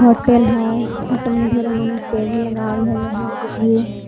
hotel है hotel में ढेरे मने टेबल लगावल हई लोहा के भी --